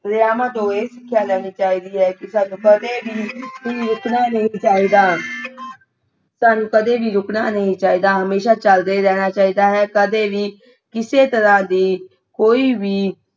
ਦਰਿਆਵਾਂ ਤੋਂ ਇਹ ਸਿਖਿਆ ਲੈਣੀ ਚਾਹੀਦੀ ਹੈ ਕਿ ਸਾਨੂੰ ਕਦੇ ਵੀ ਰੁਕਣਾ ਨਹੀਂ ਚਾਹੀਦਾ ਸਾਨੂੰ ਕਦੇ ਵੀ ਰੁਕਣਾ ਨਹੀਂ ਚਾਹੀਦਾ ਹਮੇਸ਼ਾ ਚਲਦੇ ਰਹਿਣਾ ਚਾਹੀਦਾ ਹੈ ਕਦੇ ਵੀ ਕਿਸੇ ਤਰ੍ਹਾਂ ਦੀ ਕੋਈ ਵੀ